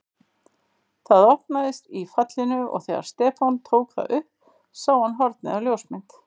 Það opnaðist í fallinu og þegar Stefán tók það upp sá hann hornið á ljósmynd.